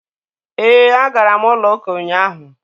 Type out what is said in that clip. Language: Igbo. E, a gara m ụlọ ụka ụnyaahụ.